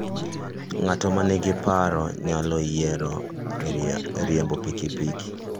Ng'at ma nigi parruok nyalo yiero riembo pikipiki.